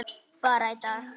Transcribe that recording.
Bara í dag.